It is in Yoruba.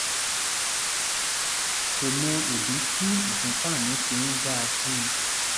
kò mọ ìdí tí ìfúnpá mi fi ń ga sí i